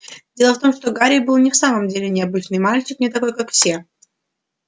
дело в том что гарри был не в самом деле необычный мальчик не такой как все